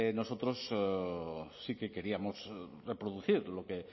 nosotros sí que queríamos reproducir lo que en